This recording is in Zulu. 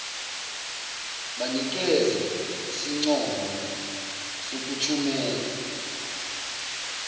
banikeze isincomo sokuthumela